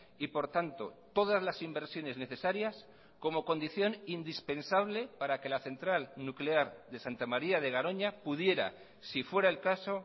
y por tanto todas las inversiones necesarias como condición indispensable para que la central nuclear de santa maría de garoña pudiera si fuerael caso